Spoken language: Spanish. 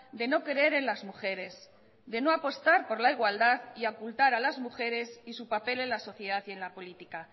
de no creer en las mujeres de no apostar por la igualdad y ocultar a las mujeres y su papel en la sociedad y en la política